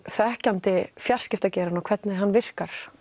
þekkjandi fjarskiptageirann og hvernig hann virkar